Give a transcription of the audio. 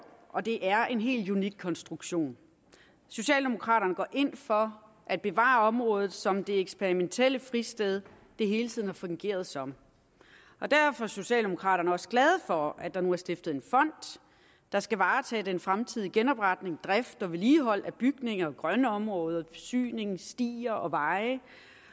og det er en helt unik konstruktion socialdemokraterne går ind for at bevare området som det eksperimentelle fristed det hele tiden har fungeret som derfor er socialdemokraterne også glade for at der nu er stiftet en fond der skal varetage den fremtidige genopretning drift og vedligehold af bygninger grønne områder forsyning stier og veje